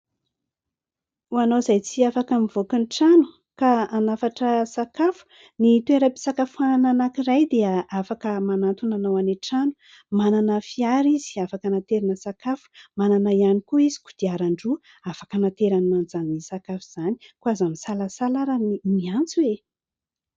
Ho anao izay tsy afaka mivoaka ny trano ka hanafatra sakafo, ny toeram-pisakafoanana anankiray dia afaka manatona anao any an-trano. Manana fiara izy afaka anaterana sakafo, manana ihany koa izy kodiaran-droa afaka hanaterana an'izany sakafo izany koa aza misalasala ary ny miantso e !